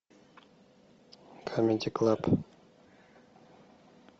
камеди клаб